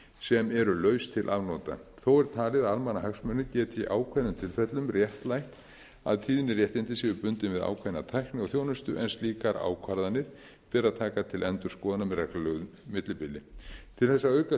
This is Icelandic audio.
sem eru laus til afnota þó er talið að almannahagsmunir geti í ákveðnum tilfellum réttlætt að tíðniréttindi séu bundin við ákveðna tækni og þjónustu en slíkar ákvarðanir beri að taka til endurskoðunar með reglulegu millibili til þess að auka